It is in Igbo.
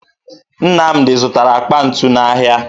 Nnamdị zụtara akpa ntu n'ahịa